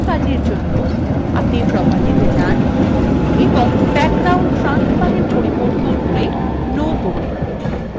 এই কাজের জন্য আপনি propertieswe যান এবং background transparent পরিবর্তন করে no করুন